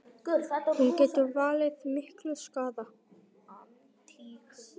Hún getur valdið miklum skaða.